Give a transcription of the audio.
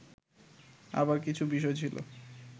আবার কিছু বিষয় ছিল